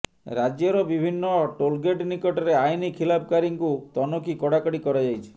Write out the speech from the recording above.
ରାଜ୍ୟର ବିଭିନ୍ନ ଟୋଲଗେଟ ନିକଟରେ ଆଇନ ଖିଲାପକାରୀଙ୍କୁ ତନଖି କଡାକଡ଼ି କରାଯାଇଛି